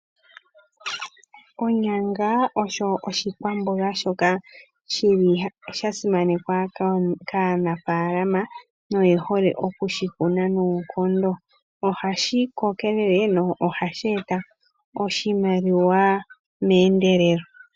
Onyanga osho oshikwamboga shoka shasimanekwa kaanafalama noye hole okushukuna noonkondo ohashi kokelele no ohashi eta oshimaliwa meendelelo.